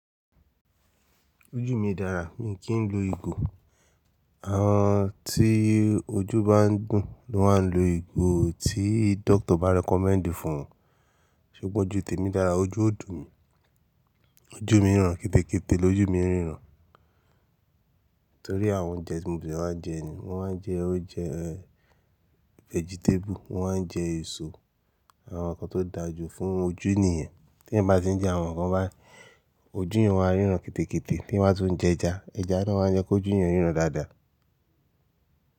Ojú mi dára, mi kì í lo ìgò. Àwọn tí ojú bá ń dùn ni wọ́n á lo ìgò tí doctor bá recommend fún wọn. Ṣùgbọ́n ojú tèmi dára, ojú ó dùn mi, ojú mi ń ràn kete kete, lójú mi ń ríran. Nítorí àwọn oúnjẹ tí mo de maa ń jẹ ni. Mo máa ń jẹ oúnjẹ vegetable, mo máa ń jẹ èso, àwọn nǹkan tó dáa jù fún ojú ènìyàn. T'ẹyan bá ti ń jẹ àwọn nǹkan bái, ojú ènìyàn ó máa ń ríran kete kete, t'eyan ba tuń jẹ ẹja, ẹja náà máa ń jẹ́ k'ojú èyàn ríran dáadáa.